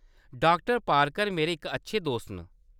डॉ. Parker मेरे इक अच्छे दोस्त न।